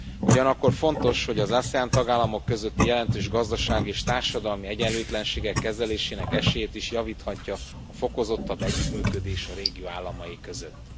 Ugyanakkor fontos, hogy az ASEAN tagállamok közötti jelentős gazdasági és társadalmi egyenlőtlenségek kezelésének esélyét is javíthatja a fokozottabb együttműködés a régió államai között.